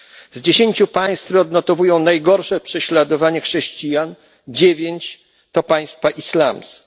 Z dziesięciu państw, które odnotowują najgorsze prześladowania chrześcijan, dziewięć to państwa islamskie.